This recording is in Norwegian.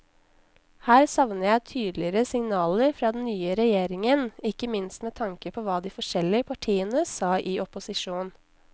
Her savner jeg tydeligere signaler fra den nye regjeringen, ikke minst med tanke på hva de forskjellige partiene sa i opposisjon.